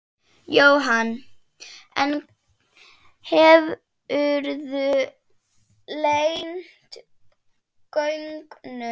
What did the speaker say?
Jóhann: En hefurðu leynt gögnum?